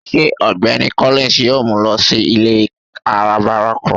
Ṣe Ọgbẹni Collins yóò mu lọ si ile arabara kan?